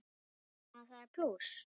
Þannig að það er plús.